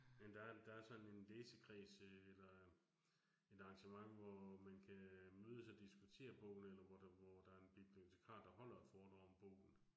Men der er, der er sådan en læsekreds øh eller et arrangement, hvor man kan mødes og diskutere bogen, eller hvor der hvor der en bibliotekar, der holder et foredrag om bogen